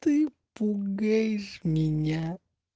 ты пугаешь меня